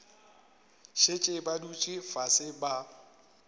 šetše ba dutše fase ba